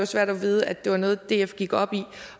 svært at vide at det er noget df går op i